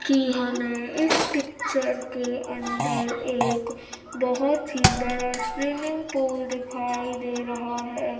कि हमें इस पिक्चर के अंदर एक बहुत ही बड़ा स्विमिंग पूल दिखाई दे रहा है।